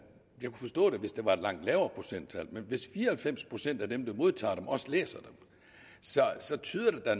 forstå det hvis det var et langt lavere procenttal men hvis fire og halvfems procent af dem der modtager dem også læser dem så tyder det da